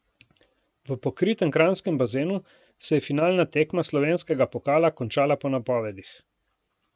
V pokritem kranjskem bazenu se je finalna tekma slovenskega pokala končala po napovedih.